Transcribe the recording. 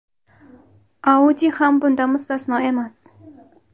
Audi ham bundan mustasno emas.